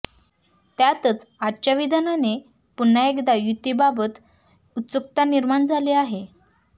त्यातच आजच्या विधानाने पुन्हा एकदा युतीबाबत उत्सुकता निर्माण झाली आहे